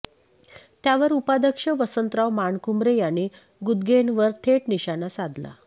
त्यावर उपाध्यक्ष वसंतराव मानकुमरे यांनी गुदगेंवर थेट निशाना साधला